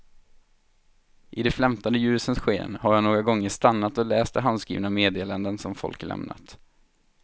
I de flämtande ljusens sken har jag några gånger stannat och läst de handskrivna meddelandena som folk lämnat.